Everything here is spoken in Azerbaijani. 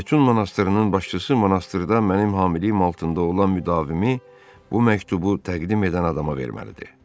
Betun monastrının başçısı monastrda mənim hamiliyəm altında olan müdavimi bu məktubu təqdim edən adama verməlidir.